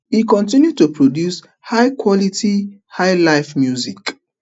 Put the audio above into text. e continue to produce high quality highlife music